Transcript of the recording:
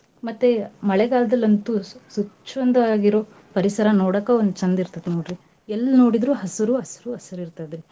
ಮತ್ತೆ ಮಳೆಗಾಲ್ದಲ್ಲಂತೂ ಸ್ವಚ್ಛಂದವಾಗಿರೋ ಪರಿಸರ ನೋಡಕ ಒಂದ್ ಚಂದಿರತೈತ್ರಿ ನೋಡ್ರಿ. ಎಲ್ ನೋಡಿದ್ರು ಹಸ್ರೂ ಹಸ್ರೂ ಹಸ್ರಿರ್ತದ್ರಿ.